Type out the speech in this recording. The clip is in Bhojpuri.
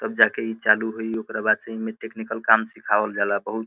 तब जाके ई चालु होइ ओकरा बाद से इमे टेक्निकल काम सिखावल जाला। बहुत --